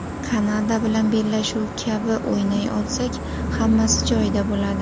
Kanada bilan bellashuv kabi o‘ynay olsak, hammasi joyida bo‘ladi.